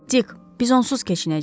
Tik, biz onsuz keçinəcəyik.